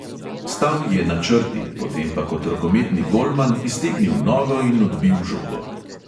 Stal je na črti, potem pa kot rokometni golman iztegnil nogo in odbil žogo.